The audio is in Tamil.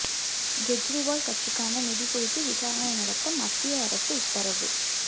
கெஜ்ரிவால் கட்சிக்கான நிதி குறித்து விசாரணை நடத்த மத்திய அரசு உத்தரவு